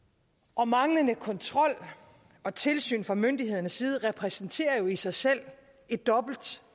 og manglende kontrol og tilsyn fra myndighedernes side repræsenterer jo i sig selv et dobbelt